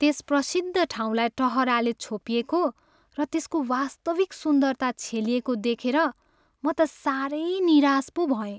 त्यस प्रसिद्ध ठाउँलाई टहराले छोपिएको र यसको वास्तविक सुन्दरता छेलिएको देखेर म त सारै निराश पो भएँ।